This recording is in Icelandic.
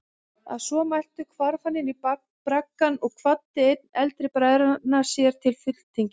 Að svo mæltu hvarf hann inní braggann og kvaddi einn eldri bræðranna sér til fulltingis.